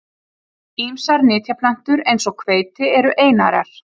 Ýmsar nytjaplöntur eins og hveiti eru einærar.